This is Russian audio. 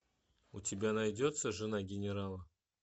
у тебя найдется жена генерала